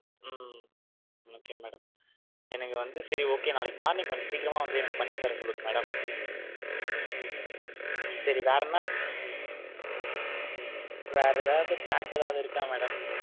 உம் okay madam எனக்கு வந்து சேரி okay நாளைக்கு morning கொஞ்சம் சீக்கீரம்மா வந்து எனக்கு பண்ணி தர சொல்லுங்க madam . சரி வேற என வேற எதாவது pack எதாவது இருக்கா madam.